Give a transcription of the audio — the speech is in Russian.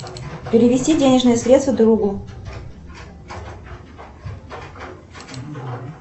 перевести денежные средства другу